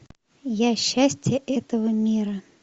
я счастье этого мира